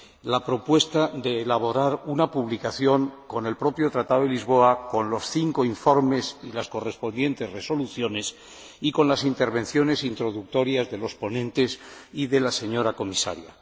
la propuesta de elaborar una publicación con el propio Tratado de Lisboa, con los cinco informes y las correspondientes resoluciones y con las intervenciones introductorias de los ponentes y de la señora Comisaria.